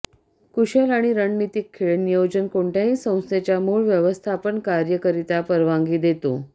कुशल आणि रणनीतिकखेळ नियोजन कोणत्याही संस्थेच्या मुळ व्यवस्थापन कार्ये करीता परवानगी देतो